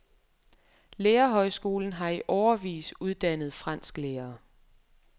Lærerhøjskolen har i årevis uddannet fransklærere.